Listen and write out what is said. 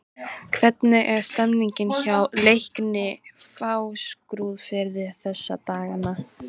Hvernig er stemningin hjá Leikni Fáskrúðsfirði þessa dagana?